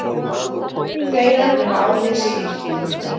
þegja nema á þig sé yrt.